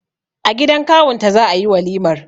A gidan kawun ta za'a yi walimar.